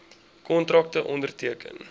kontrakte onderteken